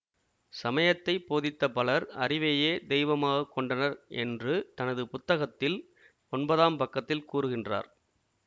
சமயத்தை போதித்த பலர் அறிவையே தெய்வமாக கொண்டனர் என்று தனது புத்தகத்தில் ஒன்பதாம் பக்கத்தில் கூறுகின்றார்